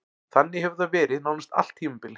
Þannig hefur það verið nánast allt tímabilið.